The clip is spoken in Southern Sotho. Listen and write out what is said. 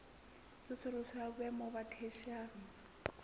tsosoloso ya boemo ba theshiari